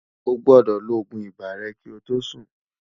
ọ̀ gbódò ló ògún ibà rè kí ọ tó Sùn